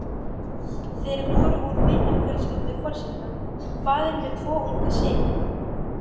Þeir voru úr vinafjölskyldu forseta, faðir með tvo unga syni.